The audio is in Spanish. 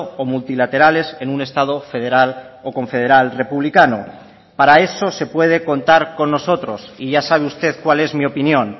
o multilaterales en un estado federal o confederal republicano para eso se puede contar con nosotros y ya sabe usted cuál es mi opinión